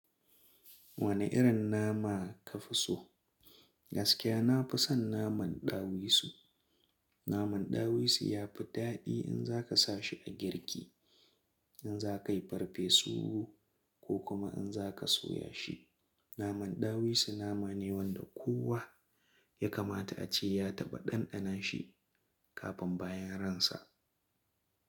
Wane irin nama ka fi so? Gaskiya na fi son naman ɗawisu. Naman ɗawisu ya fi daɗi in za ka sa shi a girki, in za ka yi farfesu ko kuma in za ka soya shi. Naman ɗawisu nama ne wanda kowa ya kamata a ce ya taɓa ɗanɗana shi kafin bayan ransa.